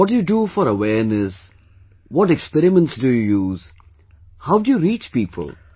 And what do you do for awareness, what experiments do you use, how do you reach people